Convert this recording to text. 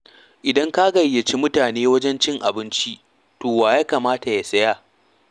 Idan ka gayyaci mutane wajen cin abinci, to wa ya kamata ya saya?